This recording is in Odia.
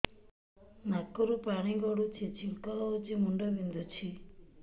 ନାକରୁ ପାଣି ଗଡୁଛି ଛିଙ୍କ ହଉଚି ମୁଣ୍ଡ ବିନ୍ଧୁଛି